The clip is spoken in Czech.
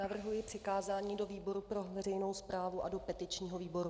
Navrhuji přikázání do výboru pro veřejnou správu a do petičního výboru.